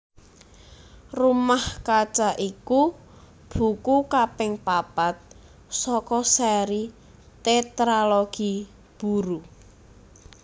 Rumah Kaca iku buku kaping papat saka séri Tétralogi Buru